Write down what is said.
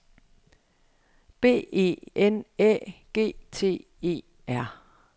B E N Æ G T E R